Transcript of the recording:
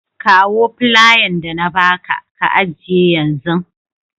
Kawo flayan da na ba ka, ka ajiye yanzun.